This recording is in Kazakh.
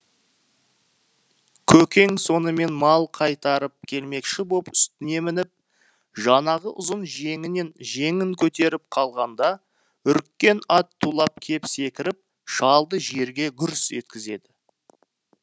көкең сонымен мал қайтарып келмекші боп үстіне мініп жаңағы ұзын жеңін көтеріп қалғанда үріккен ат тулап кеп секіріп шалды жерге гүрс еткізеді